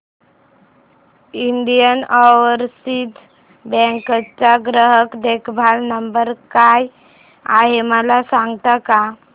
Indian Overseas Bank चा ग्राहक देखभाल नंबर काय आहे मला सांगता का